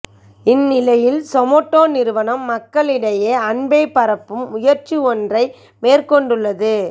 இந்நிலையில் சொமட்டோ நிறுவனம் மக்களிடையே அன்பை பரப்பும் முயற்சி ஒன்றை மேற்கொண்டுள்ளது